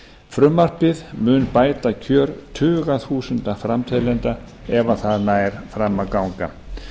frumvarpið mun bæta kjör tuga þúsunda framteljenda ef það nær fram að ganga